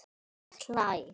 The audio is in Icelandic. Ég hlæ.